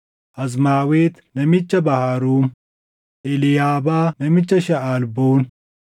Azmaawet namicha Baharuum, Eliiyaabaa namicha Shaʼalboon,